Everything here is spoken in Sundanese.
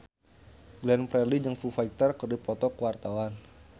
Glenn Fredly jeung Foo Fighter keur dipoto ku wartawan